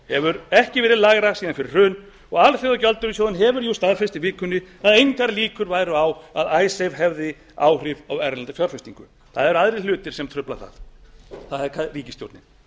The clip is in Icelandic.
hefur ekki verið lægra síðan fyrir hrun og alþjóðagjaldeyrissjóðurinn hefur jú staðfest í vikunni að engar líkur væru á að icesave hefði áhrif á erlenda fjárfestingu það eru aðrir hlutir sem trufla það það er ríkisstjórnin